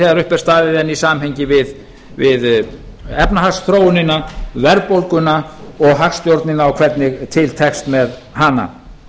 þegar upp er staðið en í samhengi við efnahagsþróunina verðbólguna og hagstjórnina og hvernig til tekst með hana